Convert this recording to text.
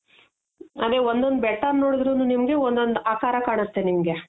ಅದೆ ಒಂದೊಂದು ಬೆಟ್ಟ ನೋಡುದ್ರುನು ನಿಮ್ಗೆ ಒಂದ್ ಒಂದ್ ಆಕಾರ ಕಾಣುತ್ತೆ ನಿಮ್ಗೆ.